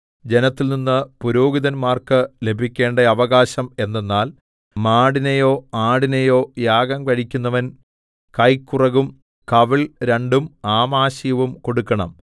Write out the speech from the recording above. ജനത്തിൽനിന്ന് പുരോഹിതന്മാർക്ക് ലഭിക്കേണ്ട അവകാശം എന്തെന്നാൽ മാടിനെയോ ആടിനെയോ യാഗം കഴിക്കുന്നവൻ കൈക്കുറകും കവിൾ രണ്ടും ആമാശയവും കൊടുക്കണം